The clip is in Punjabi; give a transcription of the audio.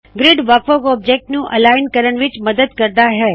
ਗਰਿੱਡ ਵੱਖ ਵੱਖ ਆਬਜੈਕਟਸ ਨੂੰ ਅਲਿਗਨ ਕਰਣ ਵਿੱਚ ਮੱਦਦ ਕਰਦਾ ਹੈ